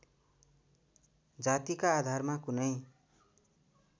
जातिका आधारमा कुनै